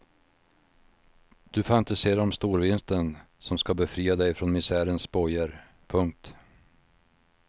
Du fantiserar om storvinsten som ska befria dig från misärens bojor. punkt